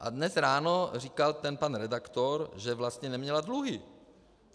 A dnes ráno říkal ten pan redaktor, že vlastně neměla dluhy.